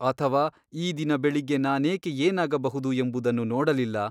ಅಥವಾ ಈ ದಿನ ಬೆಳಿಗ್ಗೆ ನಾನೇಕೆ ಏನಾಗಬಹುದು ಎಂಬುದನ್ನು ನೋಡಲಿಲ್ಲ?